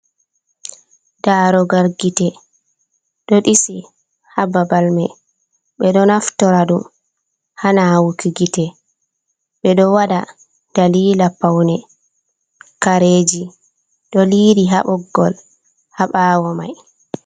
Darugal gite do disi hababal me, ɓe ɗo naftora dum, ha nawuki gite, ɓe ɗo waɗa dalila paune. kareji ɗo liri ha boggol, ha ɓawo mai.